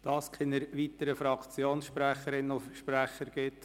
Da es keine weiteren Fraktionssprecherinnen und -sprecher gibt…